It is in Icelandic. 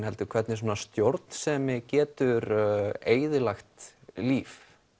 heldur hvernig stjórnsemi getur eyðilagt líf